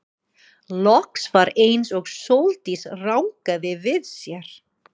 Loks var eins og Sóldís rankaði við sér.